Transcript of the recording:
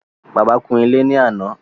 Bàbá kún ilé ní àná